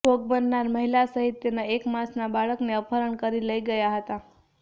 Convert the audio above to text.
ભોગબનનાર મહિલા સહીત તેના એક માસના બાળકને અપહરણ કરી લઇ ગયા હતા